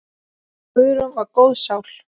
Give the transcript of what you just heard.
Guðrún var góð sál.